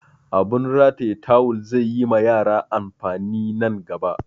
Abun rataya tawul zai yi ma yara amfani nan gaba